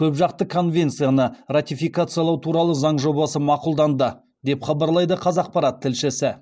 көпжақты конвенцияны ратификациялау туралы заң жобасы мақұлданды деп хабарлайды қазақпарат тілшісі